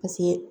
Paseke